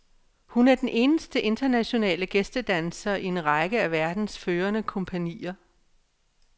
Hun er den eneste internationale gæstedanser i en række af verdens førende kompagnier.